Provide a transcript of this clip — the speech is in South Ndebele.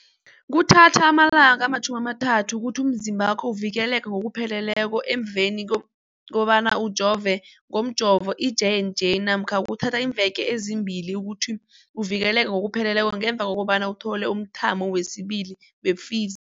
Kuthatha amalanga ama-30 ukuthi umzimbakho uvikeleke ngokupheleleko emveni kobana ujove ngomjovo i-J and J namkha kuthatha iimveke ezimbili ukuthi uvikeleke ngokupheleleko ngemva kobana uthole umthamo wesibili wePfiz